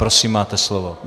Prosím, máte slovo.